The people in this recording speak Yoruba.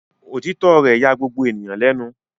Òtítọ́ rẹ̀ ya gbogbo ènìyàn lẹ́nu.